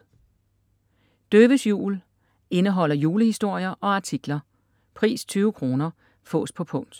Døves jul Indeholder julehistorier og artikler. Pris: 20,- kr. Fås på punkt